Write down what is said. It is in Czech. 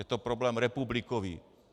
Je to problém republikový.